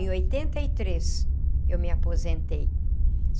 Em oitenta e três, eu me aposentei.